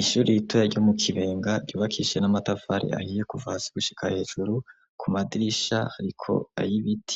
Ishuri itoya ryo mu kibenga ryubakishije n'amatafari ahiye kuva hasi gushika hejuru ku madirisha ariko ayibit